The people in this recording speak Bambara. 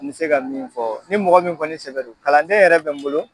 N tɛ se ka min fɔ ni mɔgɔ min kɔni sɛbɛ do kalanden yɛrɛ bɛ n bolo.